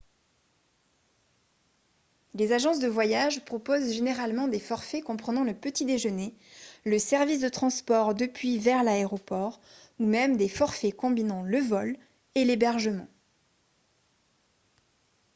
les agences de voyage proposent généralement des forfaits comprenant le petit déjeuner le service de transport depuis/vers l'aéroport ou même des forfaits combinant le vol et l'hébergement